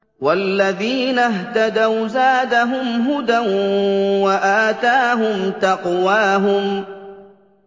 وَالَّذِينَ اهْتَدَوْا زَادَهُمْ هُدًى وَآتَاهُمْ تَقْوَاهُمْ